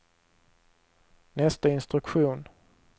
nästa instruktion